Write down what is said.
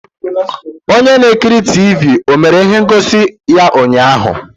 Onye na-ekiri Tivii o mere ihe ngosi ya ụnyaahụ?